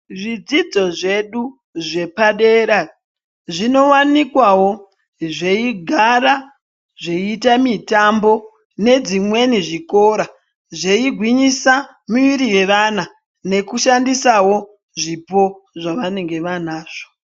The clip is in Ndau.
Zvidzidzo zvedu zvepadera zvinowanikwawo zveigara zveiite mitambo nezvimweni zvikora zveigwinyisa miiri yevana nekushandisawo zvipo zvavanenge vaanazvo.